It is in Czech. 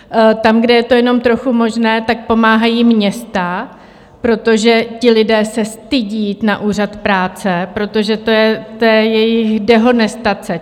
Tam, kde je to jenom trochu možné, tak pomáhají města, protože ti lidé se stydí jít na úřad práce, protože to je jejich dehonestace.